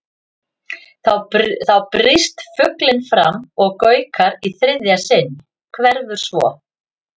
Þá brýst fuglinn fram og gaukar í þriðja sinn, hverfur svo.